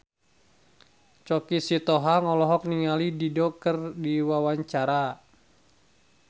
Choky Sitohang olohok ningali Dido keur diwawancara